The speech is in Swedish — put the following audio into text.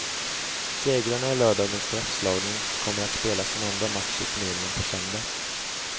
Segrarna i lördagens straffslagning kommer att spela sin andra match i turneringen på söndag.